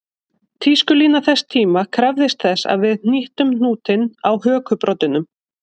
Tískulína þess tíma krafðist þess að við hnýttum hnútinn á hökubroddinum